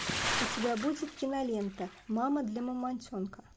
у тебя будет кинолента мама для мамонтенка